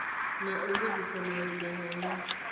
na u vhudzisa malugana na